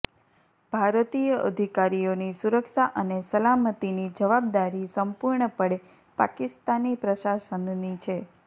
ભારતીય અધિકારીઓની સુરક્ષા અને સલામતીની જવાબદારી સંપૂર્ણપણે પાકિસ્તાની પ્રશાસનની છે